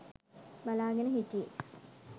බලාගෙන හිටියේ.